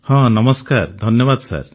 ହଁ ଧନ୍ୟବାଦ ସାର୍